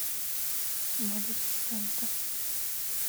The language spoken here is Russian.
малефисента